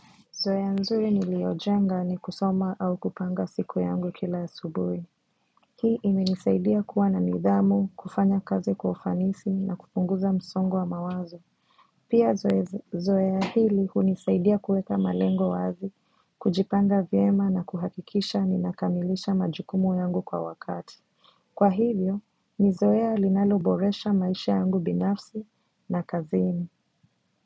Zoea nzuri niliojenga ni kusoma au kupanga siku yangu kila asubuhi. Hii imenisaidia kuwa na nidhamu, kufanya kazi kwa ufanisi na kupunguza msongo wa mawazo. Pia zoea hili hunisaidia kuweka malengo wazi, kujipanga vyema na kuhakikisha ninakamilisha majukumu yangu kwa wakati. Kwa hivyo, ni zoea linaloboresha maisha yangu binafsi na kazini.